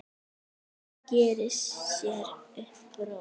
Hún gerir sér upp bros.